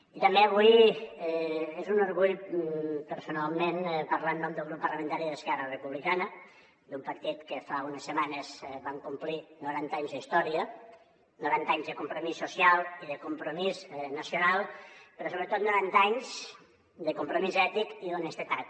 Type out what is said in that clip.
i també avui és un orgull personalment parlar en nom del grup parlamentari d’esquerra republicana d’un partit que fa unes setmanes vam complir noranta anys d’història noranta anys de compromís social i de compromís nacional però sobretot noranta anys de compromís ètic i d’honestedat